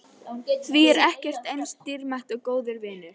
Því ekkert er eins dýrmætt og góðir vinir.